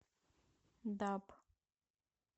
даб